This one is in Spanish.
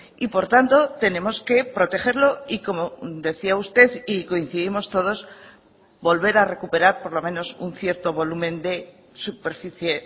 y por tanto tenemos que protegerlo y como decía usted y coincidimos todos volver a recuperar por lo menos un cierto volumen de superficie